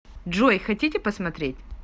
джой хотите посмотреть